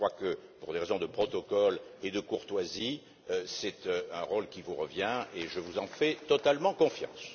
Je crois que, pour des raisons de protocole et de courtoisie, c'est un rôle qui vous revient et je vous fais totalement confiance.